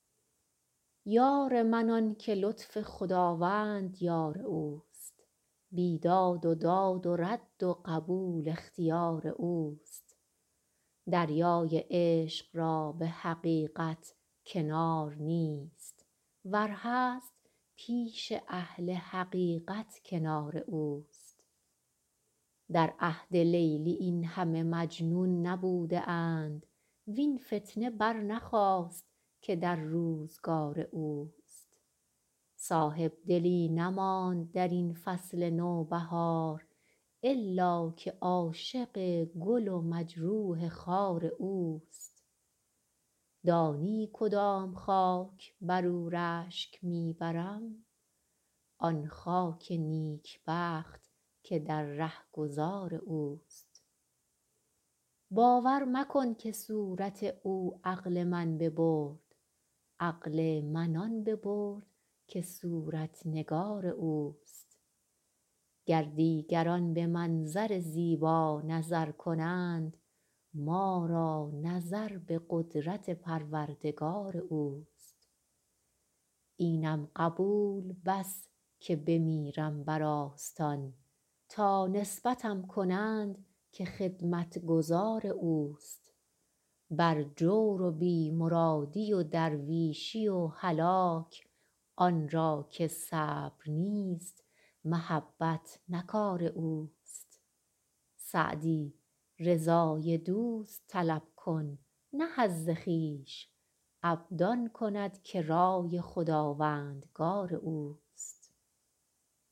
یار من آن که لطف خداوند یار اوست بیداد و داد و رد و قبول اختیار اوست دریای عشق را به حقیقت کنار نیست ور هست پیش اهل حقیقت کنار اوست در عهد لیلی این همه مجنون نبوده اند وین فتنه برنخاست که در روزگار اوست صاحبدلی نماند در این فصل نوبهار الا که عاشق گل و مجروح خار اوست دانی کدام خاک بر او رشک می برم آن خاک نیکبخت که در رهگذار اوست باور مکن که صورت او عقل من ببرد عقل من آن ببرد که صورت نگار اوست گر دیگران به منظر زیبا نظر کنند ما را نظر به قدرت پروردگار اوست اینم قبول بس که بمیرم بر آستان تا نسبتم کنند که خدمتگزار اوست بر جور و بی مرادی و درویشی و هلاک آن را که صبر نیست محبت نه کار اوست سعدی رضای دوست طلب کن نه حظ خویش عبد آن کند که رای خداوندگار اوست